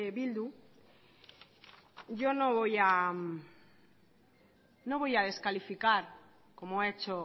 bildu yo no voy a descalificar como ha hecho